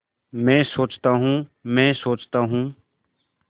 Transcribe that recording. मैं सोचता हूँ मैं सोचता हूँ